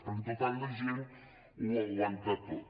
perquè total la gent ho aguanta tot